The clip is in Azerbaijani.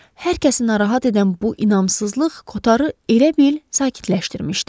Hər kəsi narahat edən bu inamsızlıq Kotarı elə bil sakitləşdirmişdi.